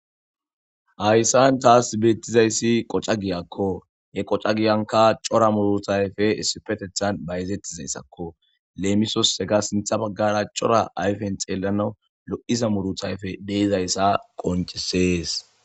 hayssan taas beettizayssi qoca giyakko he qoca giyanka cora muruta ayfe issipetethan bayzettizayssakko leemisos hega sintha baggara cora ayfen xeelana lo'iza muruta ayfe de'izayssa qoncesees